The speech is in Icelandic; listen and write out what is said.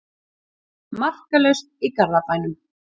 Markalaust í Garðabænum